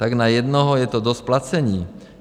Tak na jednoho je to dost placení.